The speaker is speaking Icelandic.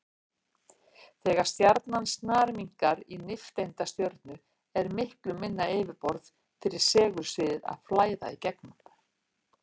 Þegar stjarnan snarminnkar í nifteindastjörnu er miklu minna yfirborð fyrir segulsviðið að flæða í gegnum.